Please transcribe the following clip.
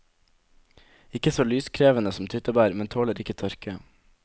Ikke så lyskrevende som tyttebær, men tåler ikke tørke.